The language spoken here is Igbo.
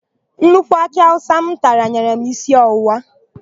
Nnukwu akị awụsa m tara nyere m isi ọwụwa.